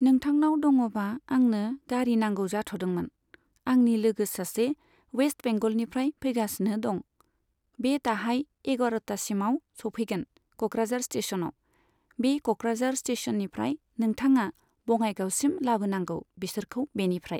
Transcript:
नोंथांनाव दङबा आंनो गारि नांगौ जाथ'दोंमोन। आंनि लोगो सासे वेस्ट बेंगेलनिफ्राय फैगासिनो दं। बे दाहाय एगारतासिमाव स'फैगोन कक्राझार स्टेसनाव। बे कक्राझार स्टेसननिफ्राय नोंथाङा बङाइगावसिम लाबोनांगौ बिसोरखौ बेनिफ्राइ।